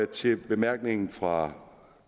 til bemærkningen fra